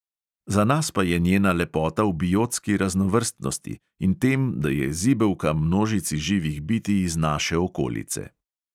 Za nas pa je njena lepota v biotski raznovrstnosti in tem, da je zibelka množici živih bitij iz naše okolice.